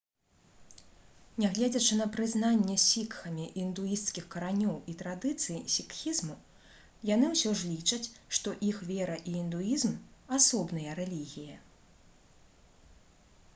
нягледзячы на прызнанне сікхамі індуісцкіх каранёў і традыцый сікхізму яны ўсё ж лічаць што іх вера і індуізм асобныя рэлігіі